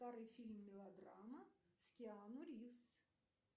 старый фильм мелодрама с киану ривз